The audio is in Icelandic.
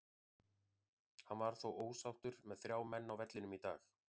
Hann var þó ósáttur með þrjá menn á vellinum í dag.